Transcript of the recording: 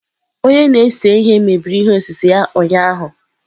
Onye na-ese ihe mebiri ihe osise ya ụnyahụ